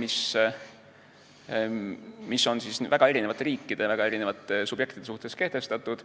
mis on väga erinevate riikide, väga erinevate subjektide suhtes kehtestatud.